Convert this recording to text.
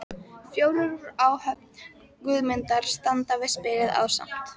Fjórir úr áhöfn Guðmundar standa við spilið ásamt